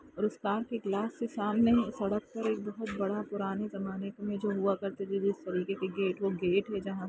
और उस कार के ग्लास के सामने ही सड़क पर सामने ही सड़क पर एक बहोत बड़ा पुराने जमाने में जो हुआ करते थे जिस तरीके के गेट वो गेट है जहां--